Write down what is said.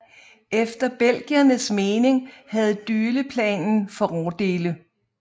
Efter belgiernes mening havde Dyleplanen fordele